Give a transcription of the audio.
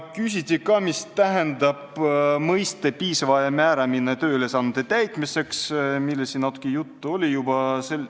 Küsiti ka, mida tähendab mõiste "piisava aja määramine tööülesande täitmiseks", millest siin oli juba natuke juttu.